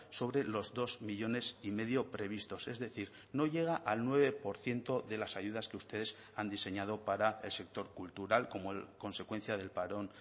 sobre los dos millónes y medio previstos es decir no llega al nueve por ciento de las ayudas que ustedes han diseñado para el sector cultural como consecuencia del parón